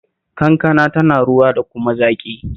Kankana tana ruwa da kuma zaƙi